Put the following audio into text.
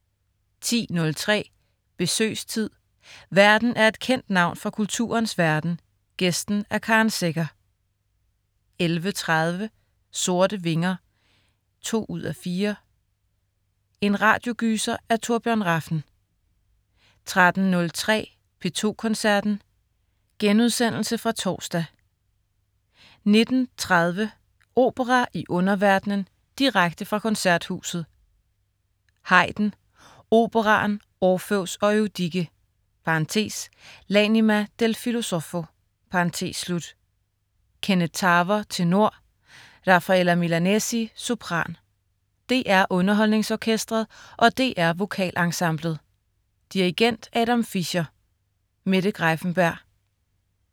10.03 Besøgstid. Værten er et kendt navn fra kulturens verden, gæsten er Karen Secher 11.30 Sorte Vinger 2:4. En radiogyser af Torbjørn Rafn 13.03 P2 Koncerten.* Genudsendelse fra torsdag 19.30 Opera i underverdenen. Direkte fra Koncerthuset. Haydn: Operaen Orfeus og Eurydike (L'anima del filosofo). Kenneth Tarver, tenor. Rafaella Milanesi, sopran. DR UnderholdningsOrkestret og DR VokalEnsemblet. Dirigent: Adam Fischer. Mette Greiffenberg